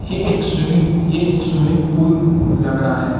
ये एक स्विमिंग ये एक स्विमिंग पूल लग रहा है।